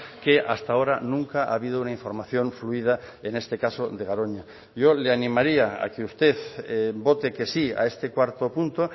que hasta ahora nunca ha habido una información fluida en este caso de garoña yo le animaría a que usted vote que sí a este cuarto punto